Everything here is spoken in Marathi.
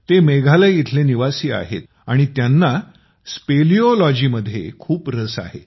ते मेघालय इथले निवासी आहेत आणि त्यांना स्पेलिओलॉजी स्पेलियोलॉजी मध्ये खूप रस आहे